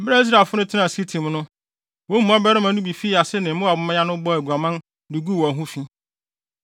Bere a Israelfo no tenaa Sitim no, wɔn mu mmarima no bi fii ase ne Moab mmea no bɔɔ aguaman de guu wɔn ho fi.